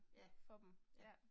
Ja, ja